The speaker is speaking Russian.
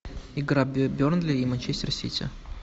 игра бернли и манчестер сити